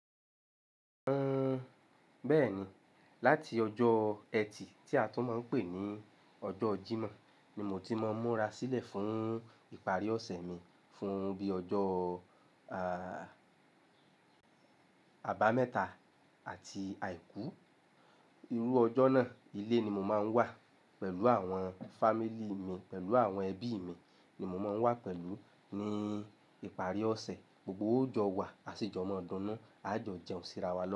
Uhm, bẹ́ẹ̀ni. Láti ọjọ́ eti tí a tún máa ń pè ní ọjọ́ Jímọ̀ ni mo ti máa ń múra sílẹ̀ fún ìparí ọ̀sẹ̀ mi. Fún bí i ọjọ́, ah, àbámẹ́ta àti àìkú. Irú ọjọ́ náà ilé ni mo máa ń wà pẹ̀lú àwọn fámílì mi pẹ̀lú àwọn ẹbí mi ni mo máa ń wà pẹ̀lú ní ìparí ọ̀sẹ̀. Gbogbo wa ọ jo wà, a sì jọ mo dunu a jọ jẹun síra wá lọ́